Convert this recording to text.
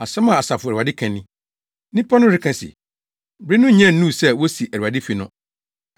Asɛm a Asafo Awurade ka ni: “Nnipa no reka se, ‘Bere no nya nnuu sɛ wosi Awurade fi no.’ ”